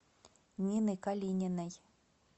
нины калининой